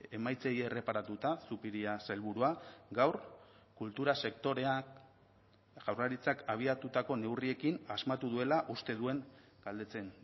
emaitzei erreparatuta zupiria sailburua gaur kultura sektoreak jaurlaritzak abiatutako neurriekin asmatu duela uste duen galdetzen